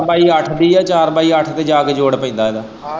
ਚਾਰ ਪਾਈ ਅੱਠ ਦੀ ਏ ਚਾਰ ਪਾਈ ਅੱਠ ਤੇ ਜਾ ਕੇ ਜੋੜ ਪੈਂਦਾ ਇਹਦਾ।